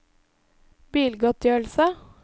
bilgodtgjørelse